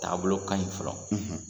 Taabolo kaɲi fɔlɔ